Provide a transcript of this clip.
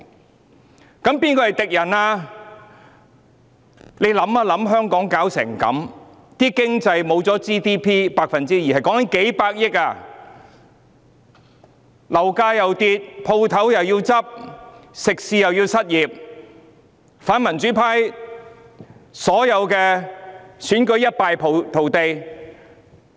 大家思考一下，香港弄至如斯地步，在經濟方面 GDP 減少了 2%， 多達數百億元，樓價下跌、店鋪倒閉、食肆員工失業及反民主派在所有選舉中一敗塗地。